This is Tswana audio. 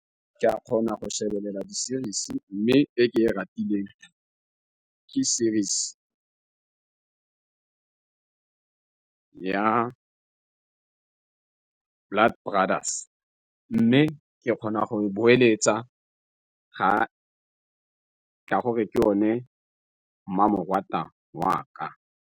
Ke a kgona go shebelela di series mme e ke e ratile ke series ya Blood Brothers, mme ke kgona go e boeletsa ga ka gore ke o ne mmamoratwa wa ka.